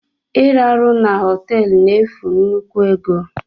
Iraru na họteelu ya n'efu nnukwu ego.